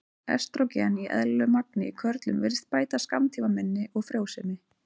Estrógen í eðlilegu magni í körlum virðist bæta skammtímaminni og frjósemi.